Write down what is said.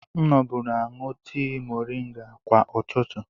M noburu aṅụ tii moringa kwa ụtụtụ.